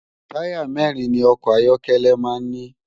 Tàyá mèrin ni òkò áyòkèlè má n ni